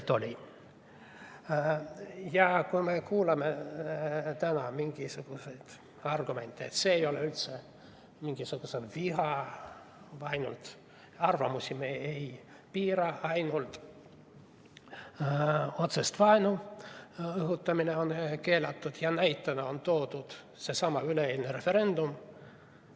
Täna me kuuleme mingisuguseid argumente, et see ei ole üldse mingisugune viha või vaen, arvamusi me ei piira, ainult otsese vaenu õhutamine on keelatud, ja näitena on toodud seesama referendum.